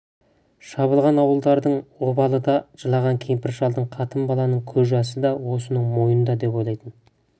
шабылған ауылдардың обалы да жылаған кемпір-шалдың қатын-баланың көз жасы да осының мойнында деп ойлайтын